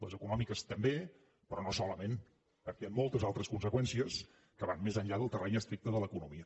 les econòmiques també però no solament perquè hi han moltes altres conseqüències que van més enllà del terreny estricte de l’economia